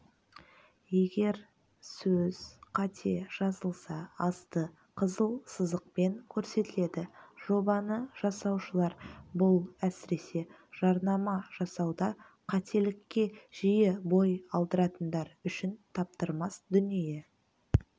егер сөз қате жазылса асты қызыл сызықпен көрсетіледі жобаны жасаушылар бұл әсіресе жарнама жасауда қателікке жиі бой алдыратындар үшін таптырмас дүние